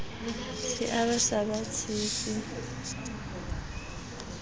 se a sa ba tshepe